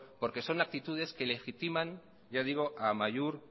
porque son aptitudes que legitiman a amaiur